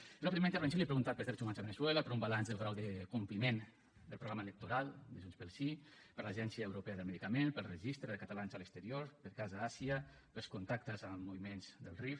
jo en la primera intervenció li he preguntat pels drets humans a veneçuela per un balanç del grau de compliment del programa electoral de junts pel sí per l’agència europea del medicament pel registre de catalans a l’exterior per casa àsia pels contactes amb moviments del rif